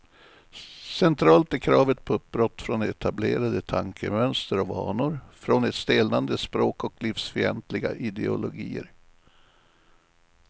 Centralt är kravet på uppbrott från etablerade tankemönster och vanor, från ett stelnande språk och livsfientliga ideologier.